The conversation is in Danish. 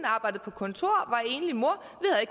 arbejdede på kontor og enlig mor